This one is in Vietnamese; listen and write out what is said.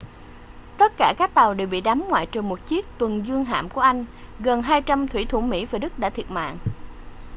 tất cả các tàu đều bị đắm ngoại trừ một chiếc tuần dương hạm của anh gần 200 thủy thủ mỹ và đức đã thiệt mạng